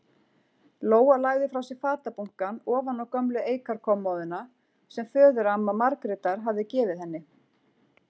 Lóa lagði frá sér fatabunkann ofan á gömlu eikarkommóðuna sem föðuramma Margrétar hafði gefið henni.